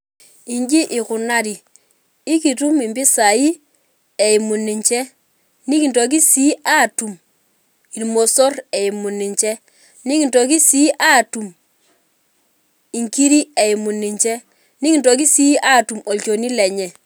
Iji ikunari, ikutum impisai eimu ninche. Nikintoki si atum irmosor eimu ninche. Nikintoki si atum inkiri eimu ninche. Nikintoki si atum olchoni eimu lenye.